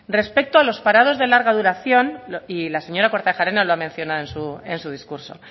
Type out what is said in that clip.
respecto a los parados de larga duración y la señora kortajarena lo ha mencionado en su discurso